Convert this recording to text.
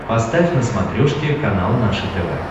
поставь на смотрешке канал наше тв